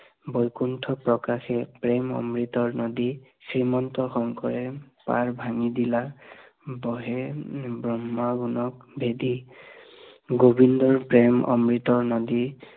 বৈকুণ্ঠ প্ৰকাশে প্ৰেম অমৃত নদী, শ্ৰীমন্ত শংকৰে পাৰ ভাঙি দিলা, বহি ব্ৰক্ষ্মাণ্ডক বিধি, গোৱিন্দ প্ৰেম অমৃত নদী